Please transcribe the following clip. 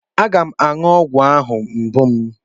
Aga m aṅụ ogwu ahụ mgbu m.